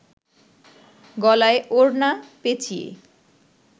গলায় ওড়না পেঁচিয়ে